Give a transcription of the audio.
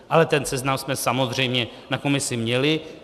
Ale ten seznam jsme samozřejmě na komisi měli.